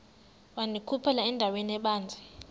wandikhuphela endaweni ebanzi